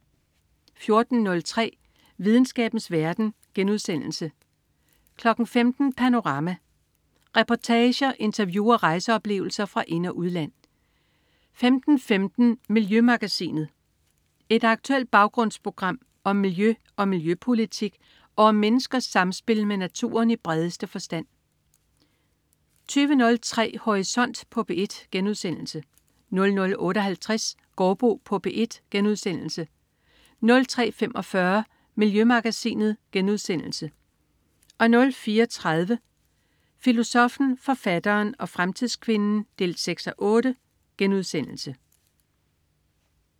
14.03 Videnskabens verden* 15.00 Panorama. Reportager, interview og rejseoplevelser fra ind- og udland 15.15 Miljømagasinet. Et aktuelt baggrundsprogram om miljø og miljøpolitik og om menneskers samspil med naturen i bredeste forstand 20.03 Horisont på P1* 00.58 Gaardbo på P1* 03.45 Miljømagasinet* 04.30 Filosoffen, forfatteren og fremtidskvinden 6:8*